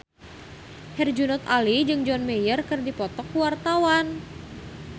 Herjunot Ali jeung John Mayer keur dipoto ku wartawan